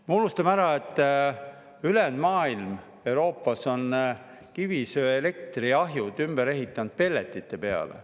Me unustame ära, et ülejäänud Euroopa on kivisöeelektriahjud ümber ehitanud pelletite peale.